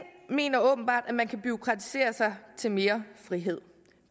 mener åbenbart at man kan bureaukratisere sig til mere frihed